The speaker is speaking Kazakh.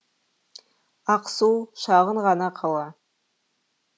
ақсу шағын ғана қала